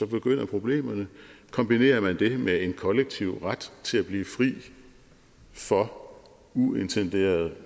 begynder problemerne og kombinerer man det med en kollektiv ret til at blive fri for uintenderede